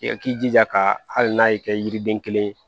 I k'i jija ka hali n'a y'i kɛ yiriden kelen ye